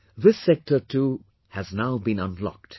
This sector toohas now been unlocked